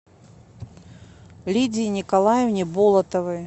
лидии николаевне болотовой